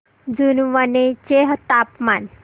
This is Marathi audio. जुनवणे चे तापमान